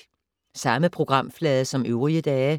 Samme programflade som øvrige dage